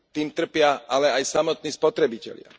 Tým trpia ale aj samotní spotrebitelia.